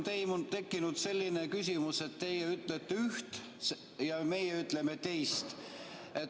Praegu on tekkinud selline küsimus, et teie ütlete üht ja meie ütleme teist.